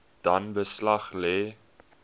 dan beslag lê